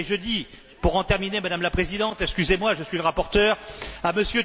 Et je dis, pour en terminer Madame la Présidente, excusez moi, je suis le rapporteur